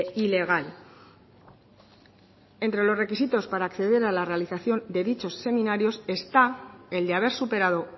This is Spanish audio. ilegal entre los requisitos para acceder a la realización de dichos seminarios está el de haber superado